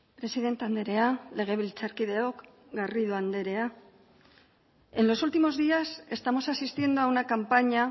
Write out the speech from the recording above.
presidente andrea legebiltzarkideok garrido andrea en los últimos días estamos asistiendo a una campaña